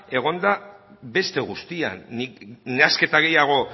egon da beste guztian nik nahasketa gehiago